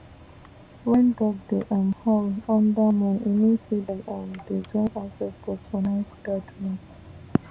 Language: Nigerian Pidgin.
when dog dey um howl under moon e mean say dem um dey join ancestors for night gathering